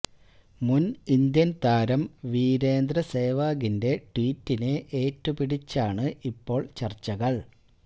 മുന് ഇന്ത്യന് താരം വിരേന്ദ്ര സേവാഗിന്റെ ട്വീറ്റിനെ ഏറ്റുപിടിച്ചാണ് ഇപ്പോള് ചര്ച്ചകള്